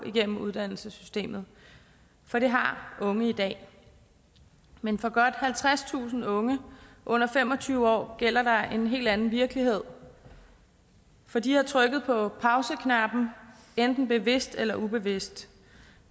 igennem uddannelsessystemet for det har unge i dag men for godt halvtredstusind unge under fem og tyve år gælder der en helt anden virkelighed for de har trykket på pauseknappen enten bevidst eller ubevidst